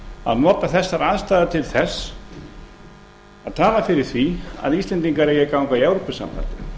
að nota þessar aðstæður til þess að tala fyrir því að íslendingar eigi að ganga í evrópusambandið